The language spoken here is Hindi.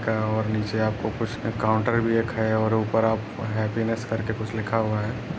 का और नीचे आपको कुछ काउंटर भी रखा है और ऊपर आपको हैप्पीनेस्स कर के कुछ लिखा हुआ है।